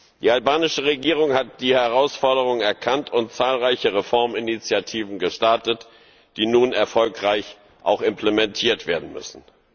Die albanische Regierung hat die Herausforderung erkannt und zahlreiche Reforminitiativen gestartet, die nun auch erfolgreich implementiert werden müssen.